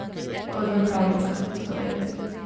Kot v pravljicah, torej.